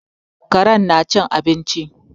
Karen na cin abinci